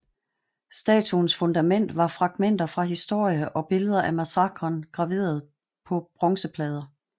Statuens fundament var fragmenter fra historie og billeder af massakren graveret på bronzeplader